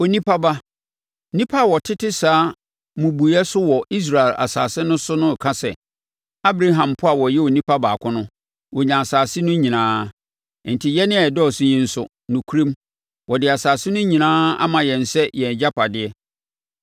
“Onipa ba, nnipa a wɔtete saa mmubuiɛ so wɔ Israel asase no so no reka sɛ, ‘Abraham mpo a ɔyɛ onipa baako no, ɔnyaa asase no nyinaa. Enti yɛn a yɛdɔɔso yi nso, nokorɛm, wɔde asase no nyinaa ama yɛn sɛ yɛn agyapadeɛ.’